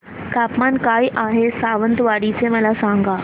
तापमान काय आहे सावंतवाडी चे मला सांगा